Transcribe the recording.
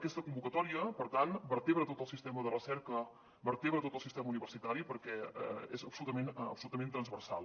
aquesta convocatòria per tant vertebra tot el sistema de recerca vertebra tot el sistema universitari perquè és absolutament transversal